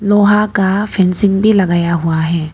लोहा का फेंसिंग भी लगाया हुआ है।